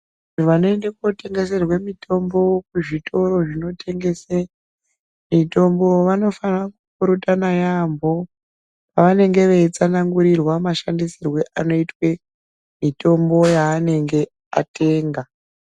Vanoende kotengeserwe mitombo kuzvitoro zvinotengese mitombo vanofana kupirutana yambo pavanenge veitsanangurirwe mashandisirwe anoitwe mitombo yaanenge atenga.